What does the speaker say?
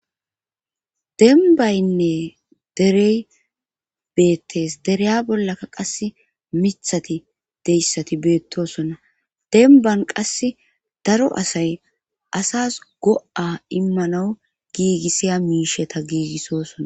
Denbaynne derey beettes dereya bollaka qas mithati deyssati beettosona denban qas daro asay asas go7a immanawu giigissiya miisheta giigissosona.